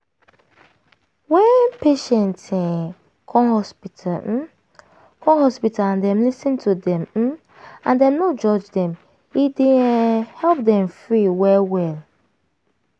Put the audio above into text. wen patient um come hospital um come hospital and dem lis ten to dem um and dem no judge dem e dey um help dem free well well.